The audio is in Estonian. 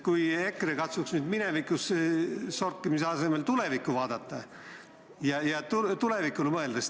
Kui EKRE katsuks nüüd minevikus sorkimise asemel tulevikku vaadata ja tulevikule mõelda.